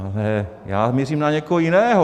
Ale já mířím na někoho jiného.